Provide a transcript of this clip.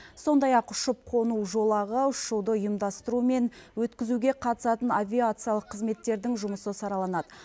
сондай ақ ұшып қону жолағы ұшуды ұйымдастыру мен өткізуге қатысатын авиациялық қызметтердің жұмысы сараланады